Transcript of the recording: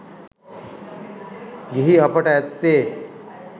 ගිහි අපට ඇත්තේ